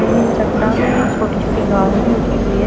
चट्टानों में छोटी छोटी घास भी उगी हुई है।